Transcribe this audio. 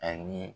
Ani